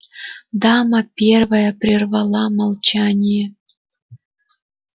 дама первая прервала молчание